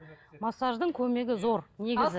массаждың көмегі зор негізі